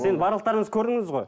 сен барлықтарыңыз көрдіңіз ғой